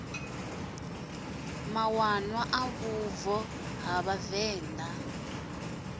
mawanwa a vhubvo ha vhavenḓa